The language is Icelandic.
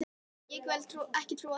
Ég vil ekki trúa því.